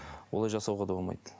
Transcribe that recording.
олай жасауға да болмайды